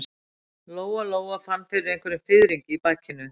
Lóa-Lóa fann fyrir einhverjum fiðringi í bakinu.